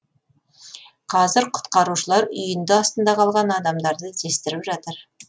қазір құтқарушылар үйінді астында қалған адамдарды іздестіріп жатыр